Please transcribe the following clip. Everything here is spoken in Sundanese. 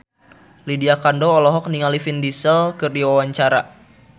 Lydia Kandou olohok ningali Vin Diesel keur diwawancara